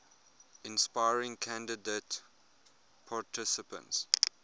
inspiring candidate participants